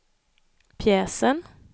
pjäsen